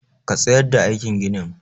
Ka tsayar da aikin ginin!